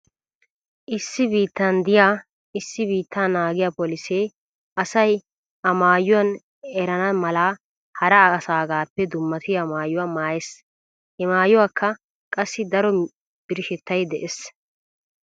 Issi biittan diya issi biittaa naagiya polisee asay a a maayuwan erana mala hara asaagaappe dummatiya maayuwa maayees. He maayuwawukka qassi daro birshshettay dees.